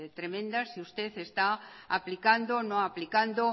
tremenda si usted está aplicando o no aplicando